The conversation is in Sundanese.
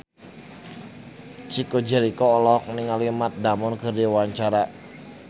Chico Jericho olohok ningali Matt Damon keur diwawancara